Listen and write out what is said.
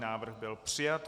Návrh byl přijat.